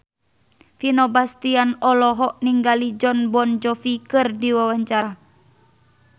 Vino Bastian olohok ningali Jon Bon Jovi keur diwawancara